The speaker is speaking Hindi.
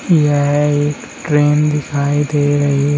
यह एक ट्रेन दिखाई दे रही--